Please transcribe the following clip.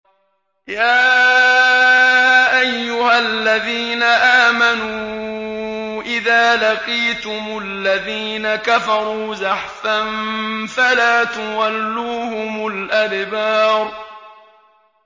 يَا أَيُّهَا الَّذِينَ آمَنُوا إِذَا لَقِيتُمُ الَّذِينَ كَفَرُوا زَحْفًا فَلَا تُوَلُّوهُمُ الْأَدْبَارَ